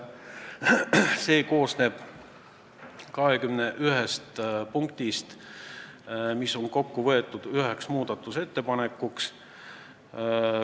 See koosneb 21 punktist, mis on kokku võetud üheks muudatusettepanekuks.